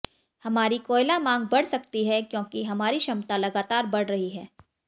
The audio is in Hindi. हमारी कोयला मांग बढ़ सकती है क्योंकि हमारी क्षमता लगातार बढ़ रही है